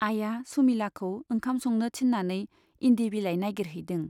आइया सुमिलाखौ ओंखाम संनो थिन्नानै इन्दि बिलाइ नाइगिरहैदों।